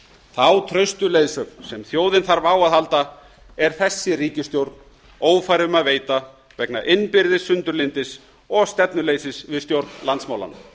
þá traustu leiðsögn sem þjóðin þarf á að halda er þessi ríkisstjórn ófær um að veita vegna innbyrðis sundurlyndis og stefnuleysis við stjórn landsmálanna frú